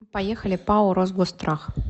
поехали пао росгосстрах